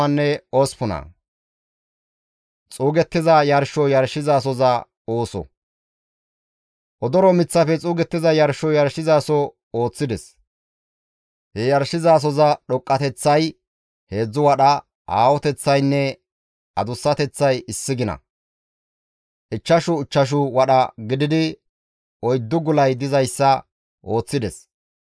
Odoro miththafe xuugettiza yarsho yarshizaso ooththides. He yarshizasoza dhoqqateththay heedzdzu wadha, aahoteththaynne adussateththay issi gina, ichchashu ichchashu wadha gididi oyddu gulay dizayssa ooththides.